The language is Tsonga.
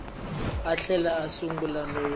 a tlhela a sungula no